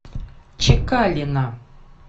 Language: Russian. чекалина